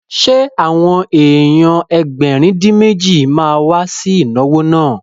Ṣé àwọn èèyàn Ẹgbẹ̀rin-dín-méjì ma wá sí ìnáwó náà?